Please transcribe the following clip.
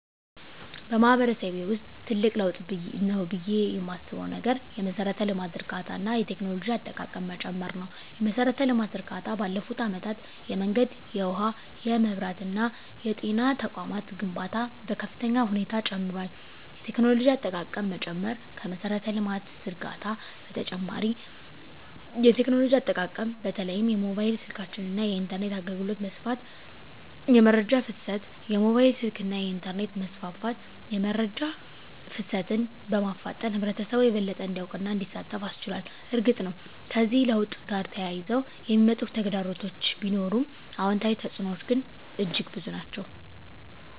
በማህበረሰቤ ውስጥ ትልቅ ለውጥ ነው ብዬ የማስበው ነገር የመሠረተ ልማት ዝርጋታ እና የቴክኖሎጂ አጠቃቀም መጨመር ነው። የመሠረተ ልማት ዝርጋታ ባለፉት አመታት የመንገድ፣ የውሃ፣ የመብራት እና የጤና ተቋማት ግንባታ በከፍተኛ ሁኔታ ጨምሯል። የቴክኖሎጂ አጠቃቀም መጨመር ከመሠረተ ልማት ዝርጋታ በተጨማሪ የቴክኖሎጂ አጠቃቀም በተለይም የሞባይል ስልኮች እና የኢንተርኔት አገልግሎት መስፋፋት። * የመረጃ ፍሰት: የሞባይል ስልክና የኢንተርኔት መስፋፋት የመረጃ ፍሰትን በማፋጠን ህብረተሰቡ የበለጠ እንዲያውቅና እንዲሳተፍ አስችሏል። እርግጥ ነው፣ ከዚህ ለውጥ ጋር ተያይዘው የሚመጡ ተግዳሮቶች ቢኖሩም፣ አዎንታዊ ተፅዕኖዎቹ ግን እጅግ የበዙ ናቸው።